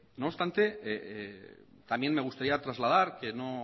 no obstante también me gustaría trasladar que no